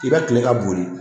I bɛ kile ka bonri